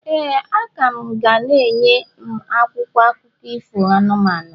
ee, a ka m ga na-enye m akwụkwọ akụkọ ifo anụmanụ.